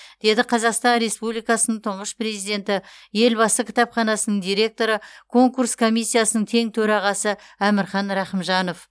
деді қазақстан республикасының тұңғыш президенті елбасы кітапханасының директоры конкурс комиссиясының тең төрағасы әмірхан рахымжанов